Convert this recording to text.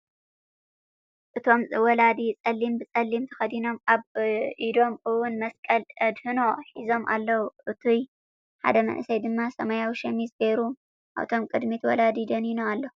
እቶም ወላዲ ፀሊም ብፀሊም ተከዲኖም ኣብኢዶም እውን መስቀል ኣድህኖ ሒዞም ኣለው። እቱይ ሓደ መንእሰይ ድማ ሰማያዊ ሸሚዝ ገይሩ ኣብቶም ቅድሚ ወላዲ ደኒኑ ኣሎ።